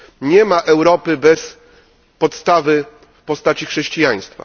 Nie ma Europy bez podstawy w postaci chrześcijaństwa.